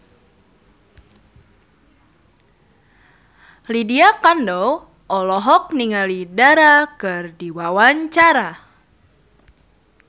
Lydia Kandou olohok ningali Dara keur diwawancara